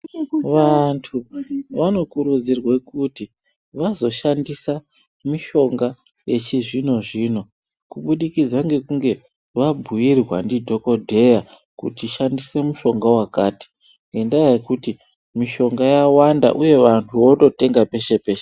Vantu vanokurudzirwe kuti vazoshandisa mishonga yechizvino zvino kubudikidza nekunge vabhuyirwa ndidhokodheya kuti shandise mushonga yakati ngendaya yekuti mishonga yawanda uyezv vantu vototenga peshe peshe.